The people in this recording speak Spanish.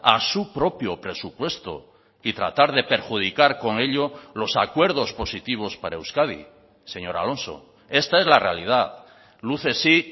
a su propio presupuesto y tratar de perjudicar con ello los acuerdos positivos para euskadi señor alonso esta es la realidad luces sí